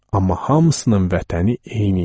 Amma hamısının vətəni eyni idi.